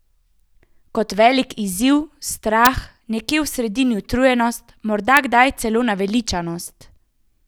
Kot velik izziv, strah, nekje v sredini utrujenost, morda kdaj celo naveličanost?